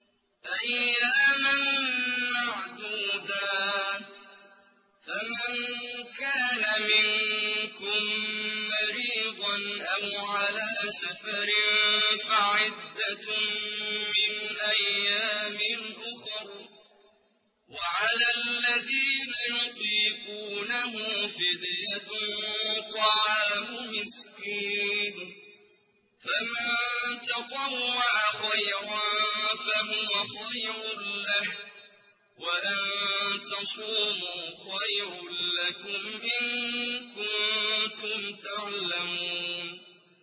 أَيَّامًا مَّعْدُودَاتٍ ۚ فَمَن كَانَ مِنكُم مَّرِيضًا أَوْ عَلَىٰ سَفَرٍ فَعِدَّةٌ مِّنْ أَيَّامٍ أُخَرَ ۚ وَعَلَى الَّذِينَ يُطِيقُونَهُ فِدْيَةٌ طَعَامُ مِسْكِينٍ ۖ فَمَن تَطَوَّعَ خَيْرًا فَهُوَ خَيْرٌ لَّهُ ۚ وَأَن تَصُومُوا خَيْرٌ لَّكُمْ ۖ إِن كُنتُمْ تَعْلَمُونَ